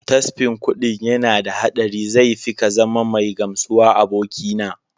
Tasfin kuɗin yana da haɗari zai fi kazama mai gamsuwa abokina.